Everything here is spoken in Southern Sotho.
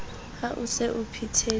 ha o se o phethetse